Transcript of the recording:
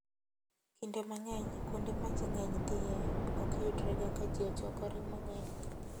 Kinde mang'eny, kuonde ma ji ng'eny dhiye ok yudrega ka ji ochokore mang'eny.